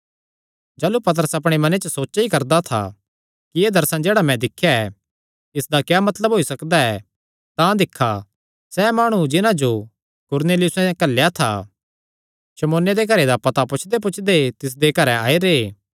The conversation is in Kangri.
जाह़लू पतरस अपणे मने च सोचा ई करदा था कि एह़ दर्शन जेह्ड़ा मैं दिख्या इसदा क्या मतलब होई सकदा ऐ तां दिक्खा सैह़ माणु जिन्हां जो कुरनेलियुसें घल्लेया था शमौने दे घरे दा पता पुछदेपुछदे तिसदे ई घरैं आई रैह्